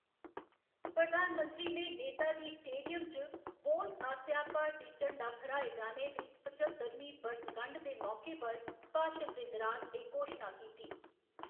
प्रधानमंत्री ने नेताजी स्टेडियम च बोस आस्सेआ भारती झंडा फहराए जाने दी पच्चतरमीं बरसगंढ दे मौके पर भाशन दे दौरान एह्‌‌ घोशना कीती।